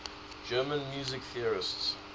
german music theorists